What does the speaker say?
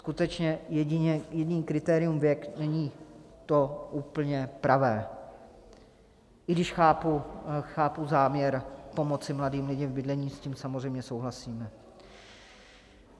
Skutečně jediné kritérium - věk - není to úplně pravé, i když chápu záměr pomoci mladým lidem v bydlení, s tím samozřejmě souhlasíme.